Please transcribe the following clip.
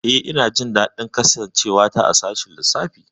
Eh, ina jin daɗin kasancewa a sashin lissafi.